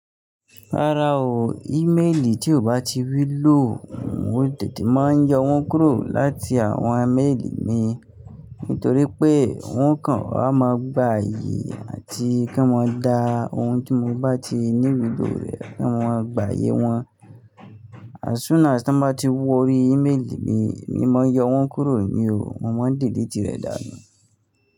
Rárá o, emailì tí o bá ti wu lò mo tètè máa yọ wọ́n kúrò láti àwọn maili mi nítorí pé wọn kàn wa mo gba ààyè àti kí mọ́n dá ohun tí mo bá ti ní wu lo rẹ̀ kí wọ́n mo gba ààyè wọn. As soon as tán bá ti wo orí emaili mi, emi moyọ wọ́n kúrò ní o, mọ́ mon deleti rẹ̀ dànù.